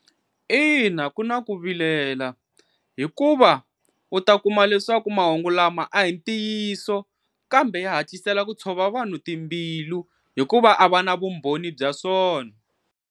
Ina ku na ku vilela, hikuva u ta kuma leswaku mahungu lama a hi ntiyiso kambe ya hatlisela ku tshova vanhu timbilu hikuva a va na vumbhoni bya swona.